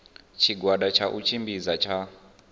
tshigwada tsha u tshimbidza tsha